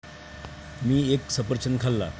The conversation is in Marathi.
मी एक सफरचंद खाल्ला.